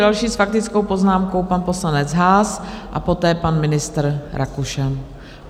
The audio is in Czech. Další s faktickou poznámkou, pan poslanec Haas, a poté pan ministr Rakušan.